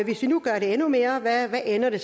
hvis vi nu gør det endnu mere hvad ender det